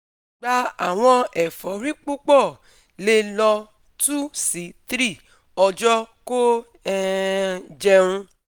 Gba awọn efori pupọ, le lọ two si three ọjọ ko um jẹun